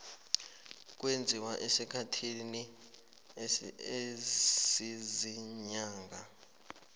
kwenziwa esikhathini esiziinyanga